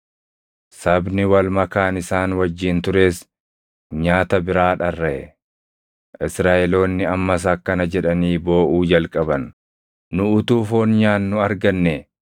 Sabni wal makaan isaan wajjin tures nyaata biraa dharraʼe; Israaʼeloonni ammas akkana jedhanii booʼuu jalqaban; “Nu utuu foon nyaannu argannee!